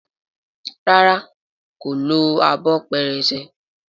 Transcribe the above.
ràrá kò ló Abọ́ pẹrẹsẹ.